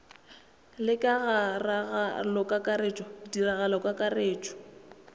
le ka ga ragalokakaretšo ditiragalokakaretšo